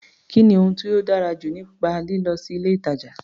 Kí ni ohun tó dára jù nípa lílọ sí ilé-ìtàjà?